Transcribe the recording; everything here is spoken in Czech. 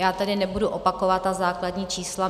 Já tedy nebudu opakovat ta základní čísla.